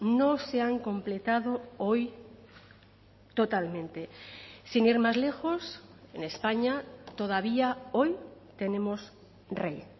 no se han completado hoy totalmente sin ir más lejos en españa todavía hoy tenemos rey